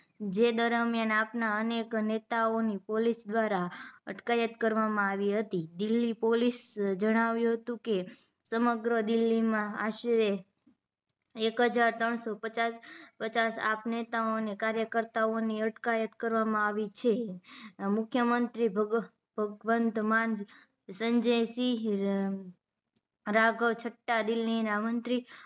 પચાસ આપ નેતાઓ કાર્યકરતાઓ ની અટકાયત કરવામાં આવી છે મુખ્યમંત્રી ભગ ભગવંતમાન સંજયસિંહ રાઘવ છટતા દિલ્હી ના મંત્રી